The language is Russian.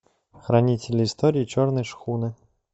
хранители история черной шхуны